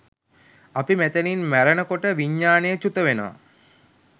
අපි මෙතැනින් මැරෙන කොට විඤ්ඤාණය චුතවෙනවා.